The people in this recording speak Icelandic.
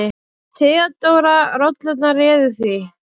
THEODÓRA: Rollurnar réðu því.